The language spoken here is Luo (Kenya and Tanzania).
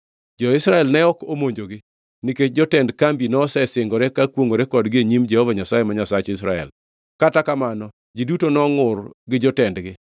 Jo-Israel ne ok omonjogi, nikech jotend kambi nosesingore ka kwongʼore kodgi e nyim Jehova Nyasaye, ma Nyasach jo-Israel. Kata kamano, ji duto nongʼur gi jotendgi,